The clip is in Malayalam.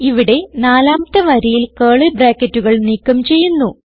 ഇവിടെ നാലാമത്തെ വരിയിൽ കർലി ബ്രാക്കറ്റുകൾ നീക്കം ചെയ്യുന്നു